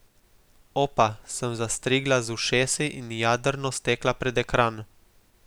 Opa, sem zastrigla z ušesi in jadrno stekla pred ekran.